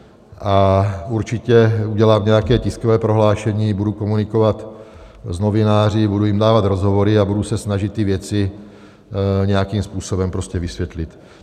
A určitě udělám nějaké tiskové prohlášení, budu komunikovat s novináři, budu jim dávat rozhovory a budu se snažit ty věci nějakým způsobem prostě vysvětlit.